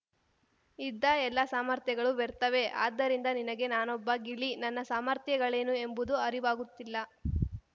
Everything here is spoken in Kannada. ಇದ್ದ ಎಲ್ಲ ಸಾಮರ್ಥ್ಯಗಳು ವ್ಯರ್ಥವೇ ಆದ್ದರಿಂದ ನಿನಗೆ ನಾನೊಬ್ಬ ಗಿಳಿ ನನ್ನ ಸಾಮರ್ಥ್ಯಗಳೇನು ಎಂಬುದು ಅರಿವಾಗುತ್ತಿಲ್ಲ